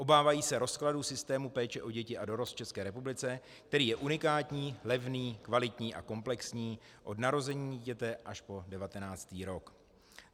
Obávají se rozkladu systému péče o děti a dorost v České republice, který je unikátní, levný, kvalitní a komplexní od narození dítěte až po 19. rok.